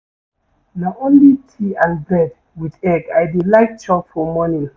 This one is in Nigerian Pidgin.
Na only tea and bread wit egg I dey like chop for morning.